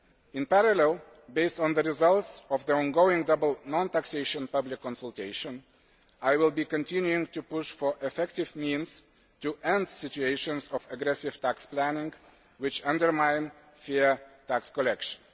In parallel, based on the results of the ongoing double non taxation public consultation, I will be continuing to push for effective means to end situations of aggressive tax planning which undermine fair tax collection.